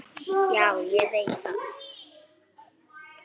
Já, ég veit það.